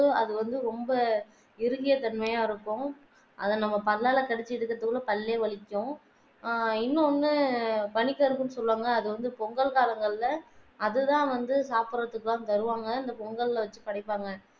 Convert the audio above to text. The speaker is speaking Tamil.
அத நம்ம பல்லாலே கடித்து இழுக்கத்துக்குள்ள பள்ளே வலிக்கும் இன்னொன்னு பணிகரும்பு சொல்வாங்க க அது வந்து பொங்கல் காலங்கள்ல அது தான் வந்து சாப்பிட்றத்துக்கெல்லாம் தருவாங்க அந்த பொங்கல்ல வெச்சி படைப்பாங்க